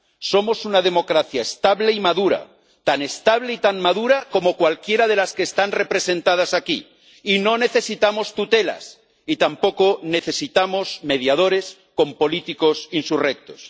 Somos una democracia estable y madura, tan estable y tan madura como cualquiera de las que están representadas aquí, y no necesitamos tutelas y tampoco necesitamos mediadores con políticos insurrectos.